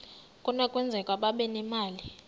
kunokwenzeka babe nemali